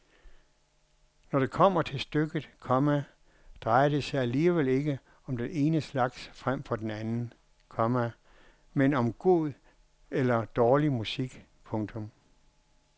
Når det kommer til stykket, komma drejer det sig alligevel ikke om den ene slags frem for den anden, komma men om god eller dårlig musik. punktum